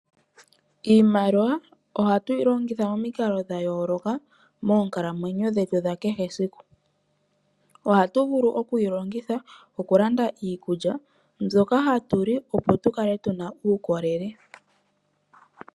Iimaliwa ohatu yi longitha momikalo dha yooloka momukalo dhetu dha kehe esiku .Ohatu vulu okuyi longitha okulanda iikulya mbyoka hatuli opo tu kale tuna uukolele.